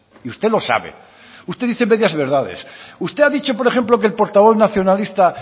y usted lo sabe usted dice medias verdades usted ha dicho por ejemplo que el portavoz nacionalista